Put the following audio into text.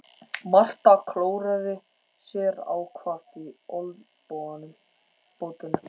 Marta klóraði sér ákaft í olnbogabótinni.